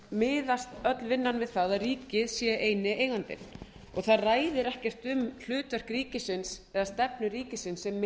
miðast öll vinnan við það að ríkið sé eini eigandinn og það ræðir ekki um hlutverk ríkisins eða stefnu ríkisins sem